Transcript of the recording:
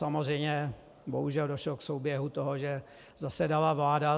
Samozřejmě bohužel došlo k souběhu toho, že zasedala vláda.